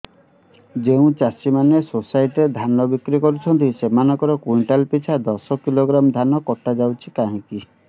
ଯେଉଁ ଚାଷୀ ମାନେ ସୋସାଇଟି ରେ ଧାନ ବିକ୍ରି କରୁଛନ୍ତି ସେମାନଙ୍କର କୁଇଣ୍ଟାଲ ପିଛା ଦଶ କିଲୋଗ୍ରାମ ଧାନ କଟା ଯାଉଛି କାହିଁକି